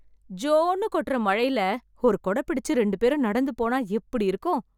ஜோன்னு கொட்டுற மழைல, ஒரு கொடை பிடிச்சு ரெண்டுபேரும் நடந்து போன எப்படி இருக்கும்.